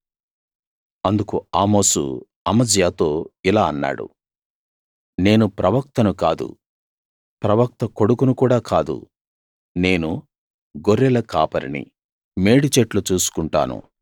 అందుకు ఆమోసు అమజ్యాతో ఇలా అన్నాడు నేను ప్రవక్తను కాదు ప్రవక్త కొడుకును కూడా కాదు నేను గొర్రెల కాపరిని మేడి చెట్లు చూసుకుంటాను